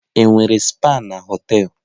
Enwere spa na họtel?